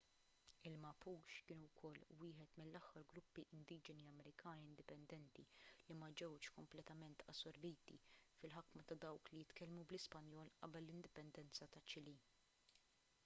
il-mapuche kienu wkoll wieħed mill-aħħar gruppi indiġeni amerikani indipendenti li ma ġewx kompletament assorbiti fil-ħakma ta' dawk li jitkellmu bl-ispanjol qabel l-indipendenza taċ-ċilì